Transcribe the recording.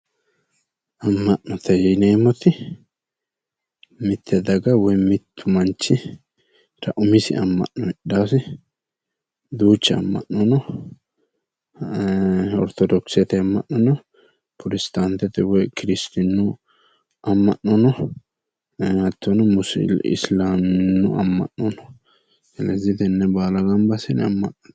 Amma'nate yineemmoti mitte daga woy mittu manchira umisi amma'no no kuri giddonni ortodokisete amma'no no, protestantete amma'no musiliilemete amma'no no kuri baala amma'nate yonanni